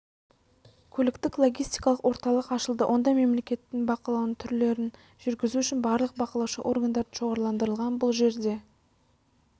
көліктік-логистикалық орталық ашылды онда мемлекеттік бақылаудың түрлерін жүргізу үшін барлық бақылаушы органдар шоғырландырылған бұл жерде